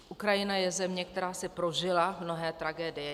Ukrajina je země, která si prožila mnohé tragédie.